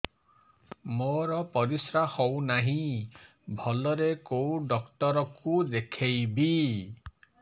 ମୋର ପରିଶ୍ରା ହଉନାହିଁ ଭଲରେ କୋଉ ଡକ୍ଟର କୁ ଦେଖେଇବି